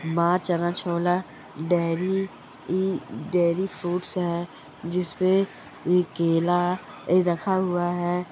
मा चना छोला डेरी ई डेरी फ़ूड्स हैं जिसमे ए केला रखा हुआ हैं।